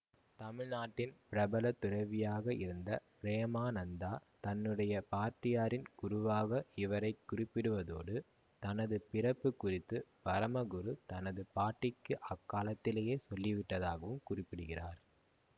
தமிழ்நாட்டின் பிரபல துறவியாக இருந்த பிரேமானந்தா தன்னுடைய பாட்டியாரின் குருவாக இவரை குறிப்பிடுவதோடு தனது பிறப்பு குறித்து பரமகுரு தனது பாட்டிக்கு அக்காலத்திலேயே சொல்லிவிட்டதாகவும் குறிப்பிடுகிறார்